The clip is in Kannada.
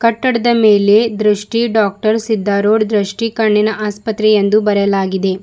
ಕಟ್ಟಡದ ಮೇಲೆ ದೃಷ್ಟಿ ಡಾಕ್ಟರ್ ಸಿದ್ದರೂಡ್ ದೃಷ್ಟಿ ಕಣ್ಣಿನ ಆಸ್ಪತ್ರೆ ಎಂದು ಬರೆಯಲಾಗಿದೆ.